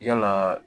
Yalaa